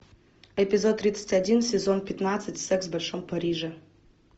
эпизод тридцать один сезон пятнадцать секс в большом париже